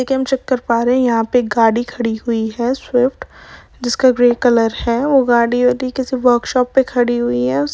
Sector बारह यहाँ पे गाड़ी खड़ी हुई है। स्विफ्ट जिसका ग्रे कलर है। वो गाड़ी वर्क शॉप पे खड़ी हुई है।